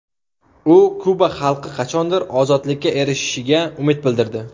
U Kuba xalqi qachondir ozodlikka erishishiga umid bildirdi.